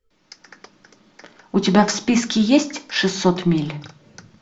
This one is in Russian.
у тебя в списке есть шестьсот миль